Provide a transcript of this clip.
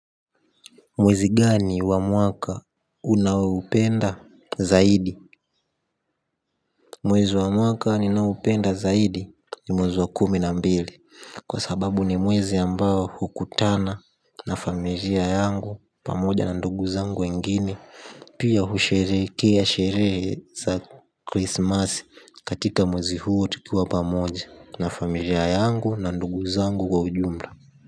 Mwezi gani wa mwaka unaoupenda zaidi? Mwezi wa mwaka ninaoupenda zaidi ni mwezi wa kumi na mbili. Kwa sababu ni mwezi ambao hukutana na familia yangu pamoja na ndugu zangu wengine. Pia hushereke ya sherehe za krismasi katika mwezi huo tukiwa pamoja na familia yangu na ndugu zangu kwa ujumla.